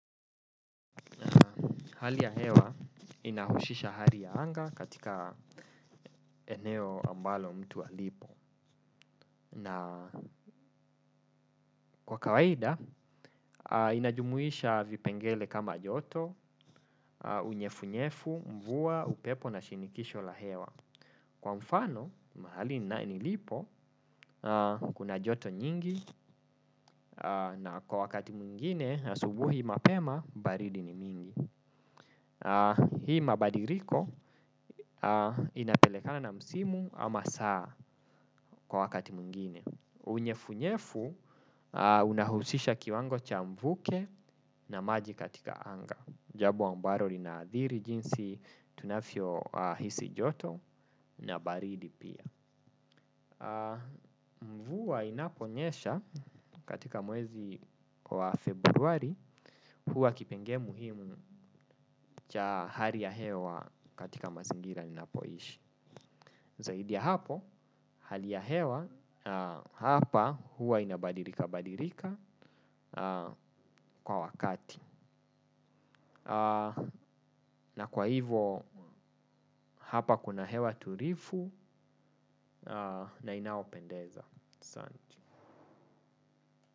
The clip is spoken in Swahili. Hali ya hewa inahusisha hali ya anga katika eneo ambalo mtu alipo. Na kwa kawaida, inajumuisha vipengele kama joto, unyevu-nyevu, mvua, upepo na shinikisho la hewa. Kwa mfano, mahali nilipo, kuna joto nyingi na kwa wakati mwingine, asubuhi mapema, baridi ni mingi. Hii mabadiliko inapelekana na msimu ama saa kwa wakati mwingine. Unyevunyevu unahusisha kiwango cha mvuke na maji katika anga. Jambo ambalo linaadhiri jinsi tunavyo hisi joto na baridi pia. Mvua inaponyesha katika mwezi wa februari huwa kipengele muhimu cha hali ya hewa katika mazingira ninapoishi. Zaidi ya hapo hali ya hewa hapa huwa inabadilika badilika kwa wakati. Na kwa hivo hapa kuna hewa tulivu na inaopendeza.